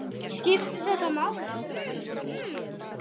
Skiptir þetta máli??